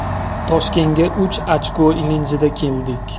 Toshkentga uch ochko ilinjida keldik.